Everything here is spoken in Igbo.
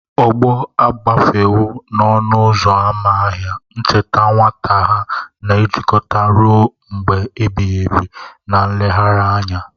Ọgbọ agafewo n'ọnụ ụzọ ámá ahia, ncheta nwata ha na-ejikọta ruo mgbe ebighị ebi na nlegharị anya.